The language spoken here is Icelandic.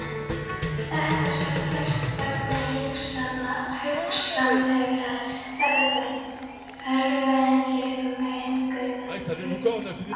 Þetta skal gert vegna hugsanlegrar örverumengunar í kjötinu.